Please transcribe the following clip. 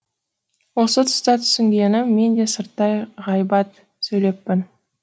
осы тұста түсінгенім мен де сырттай ғайбат сөйлеппін